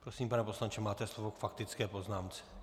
Prosím, pane poslanče, máte slovo k faktické poznámce.